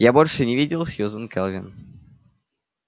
я больше не видел сьюзен кэлвин